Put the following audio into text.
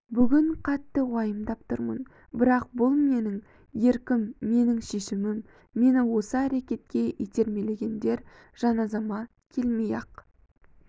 бүгін қатты уайымдап тұрмын бірақ бұл менің еркім менің шешімім мені осы әрекетке итермелегендер жаназама келмей-ақ